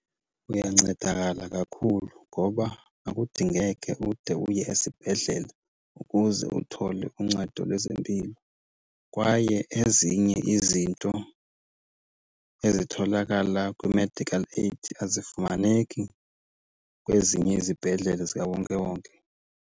Uyancedakala kakhulu ngoba akudingeke ude uye esibhedlele ukuze uthole uncedo lwezempilo. Kwaye ezinye izinto ezitholakala kwi-medical aid azifumaneki kwezinye izibhedlele zikawonkewonke.